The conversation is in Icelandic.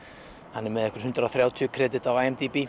hann er með einhver hundrað og þrjátíu kredit á